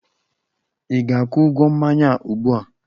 Ị ga-akwụ ụgwọ mmanya a ụgbu a!